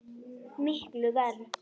Miklu verr.